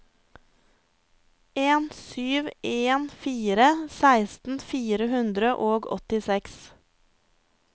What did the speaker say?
en sju en fire seksten fire hundre og åttiseks